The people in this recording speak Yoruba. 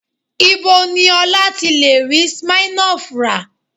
Ibo ni Ọlá ti lè rí Smirnoff rà?